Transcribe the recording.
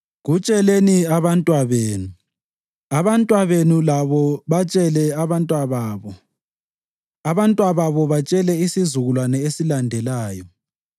Kutsheleni abantwabenu, abantwabenu labo batshele ababantwababo, abantwababo batshele isizukulwane esilandelayo.